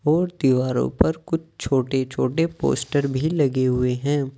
और दीवारों पर कुछ छोटे-छोटे पोस्टर भी लगे हुए हैं।